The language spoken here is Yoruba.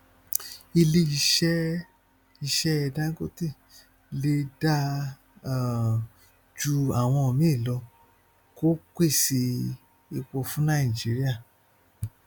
ilé iṣẹ iṣẹ dangote lè dáa um ju àwọn míì lọ kó pèsè epo fún nàìjíríà